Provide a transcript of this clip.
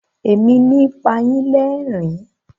Èmi ni pa yín lẹ́rìn-ín.